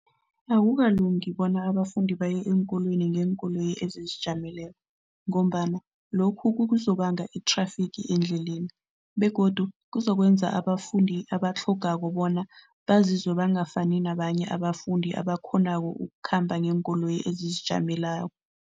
Akukalungi bona abafundi baye eenkolweni ngeenkoloyi ezizijameleko ngombana lokho kuzokubanga i-traffic endleleni begodu kuzokwenza abafundi abatlhogako bona bazizwe bangafuni nabanye abafundi abakghonako ukukhamba ngeenkoloyi ezizijamelako.